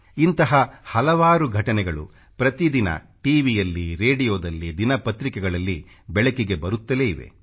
ಇಂಥ ಹಲವಾರು ಘಟನೆಗಳು ಪ್ರತಿದಿನ ಟಿ ವಿ ಯಲ್ಲಿ ರೇಡಿಯೋದಲ್ಲಿ ದಿನಪತ್ರಿಕೆಗಳಲ್ಲಿ ಬೆಳಕಿಗೆ ಬರುತ್ತಲೇ ಇವೆ